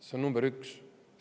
See on number üks.